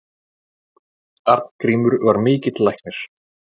Arngrímur var mikill læknir.